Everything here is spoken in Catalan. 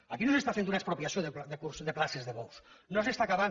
aquí no s’està fent una expropiació de places de bous no s’està acabant